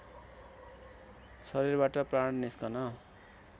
शरीरबाट प्राण निस्कन